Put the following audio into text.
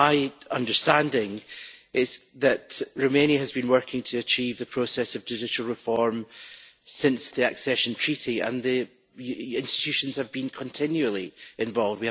My understanding is that Romania has been working to achieve the process of judicial reform since the accession treaty and that the institutions have been continually involved.